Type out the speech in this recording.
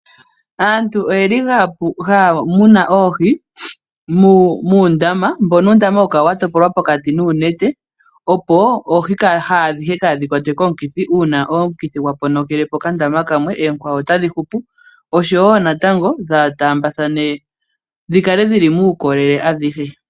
Aantu oyeli haya munu oohi muundama mbono uundama hawu kala watopolwa pokati uunete opo oohi kadhi kwatwe komikithi uuna omukithi gwaponokelepo okandama kamwe oonkwawo otadhi hupu oshowo natango kaadhi taambathane dhikale dhili muukolele adhihe.